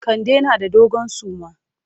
Kande na da dogon suma.